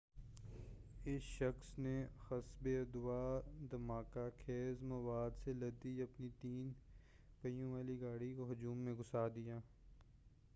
اس شخص نے حسبِ ادّعاء دھماکہ خیز مواد سے لدی اپنی تین پہیوں والی گاڑی کو ہجوم میں گھُسا دیا